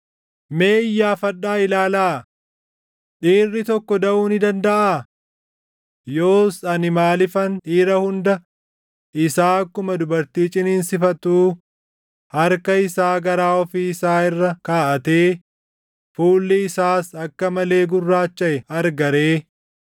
Mee iyyaafadhaa ilaalaa: Dhiirri tokko daʼuu ni dandaʼaa? Yoos ani maaliifan dhiira hunda isaa akkuma dubartii ciniinsifattuu, harka isaa garaa ofii isaa irra kaaʼatee, fuulli isaas akka malee gurraachaʼe arga ree?